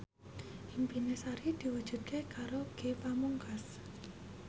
impine Sari diwujudke karo Ge Pamungkas